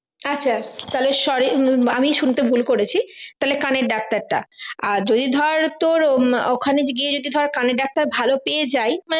আচ্ছা তাহলে sorry আমি শুনতে ভুল করেছি তাহলে কানের ডাক্তারটা আর যদি ধর তোর ওখানে গিয়ে ধর কানের ডাক্তার ভালো পেয়ে যাই